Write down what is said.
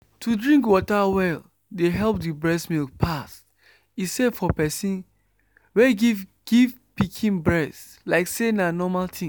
to drink water well dey help the breast milk pass. e safe for person wey give give pikin breast… like say na normal thing.